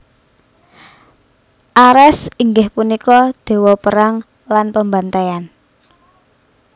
Ares inggih punika déwa perang lan pembantaian